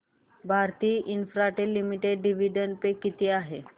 Bharti Infratel limited dividend pay किती आहे